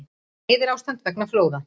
Neyðarástand vegna flóða